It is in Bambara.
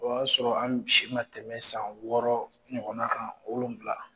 O ya sɔrɔ an si ma tɛmɛ san wɔɔrɔ ɲɔgɔn na kan wolonwula.